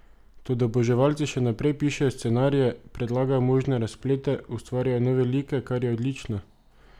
Toda oboževalci še naprej pišejo scenarije, predlagajo možne razplete, ustvarjajo nove like, kar je odlično!